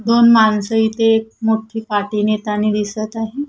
दोन माणस इथे मोठी पाठी नेतानी दिसत आहे.